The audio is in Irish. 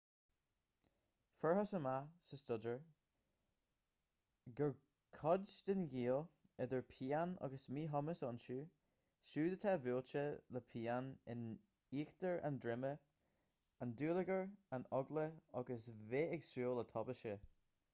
fuarthas amach sa staidéar gur cuid den ghaol idir pian agus míchumas iontu siúd atá buailte le pian in íochtar an droma an dúlagar an eagla agus bheith ag súil le tubaiste